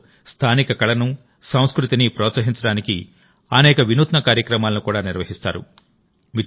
ఇందులోస్థానిక కళను సంస్కృతిని ప్రోత్సహించడానికి అనేక వినూత్న కార్యక్రమాలను కూడా నిర్వహిస్తారు